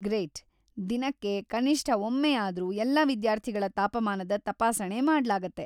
Great! ದಿನಕ್ಕೆ ಕನಿಷ್ಟ ಒಮ್ಮೆಯಾದ್ರೂ ಎಲ್ಲ ವಿದ್ಯಾರ್ಥಿಗಳ ತಾಪಮಾನದ ತಪಾಸಣೆ ಮಾಡಲಾಗತ್ತೆ.